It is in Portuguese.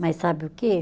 Mas sabe o quê?